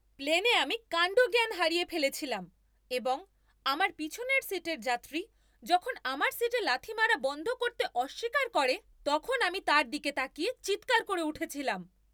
প্লেনে আমি কাণ্ডজ্ঞান হারিয়ে ফেলেছিলাম এবং আমার পিছনের সিটের যাত্রী যখন আমার সিটে লাথি মারা বন্ধ করতে অস্বীকার করে তখন আমি তার দিকে তাকিয়ে চিৎকার করে উঠেছিলাম।